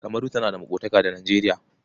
Kamaru tana maƙotaka da Nijeriya.